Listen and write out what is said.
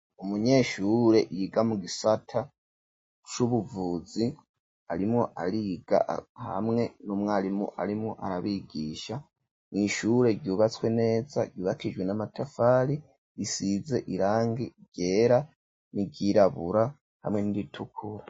Umunyeshure, yiga mu gisata c'ubuvuzi, arimwo ariga, hamwe n'umwarimu, arimwo arabigisha, mw’ishure, ryubatswe neza, ryubakishijwe n'amatafari, risize irangi ryera, n’iryirabura, hamwe n'iritukura.